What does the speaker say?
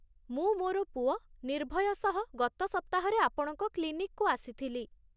ମୁଁ ମୋର ପୁଅ ନିର୍ଭୟ ସହ ଗତ ସପ୍ତାହରେ ଆପଣଙ୍କ କ୍ଳିନିକକୁ ଆସିଥିଲି।